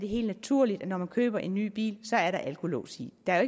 helt naturligt at når man køber en ny bil så er der alkolås i der er